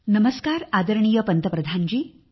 नमस्कार आदरणीय पंतप्रधानजी